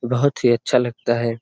बहोत ही अच्छा लगता है।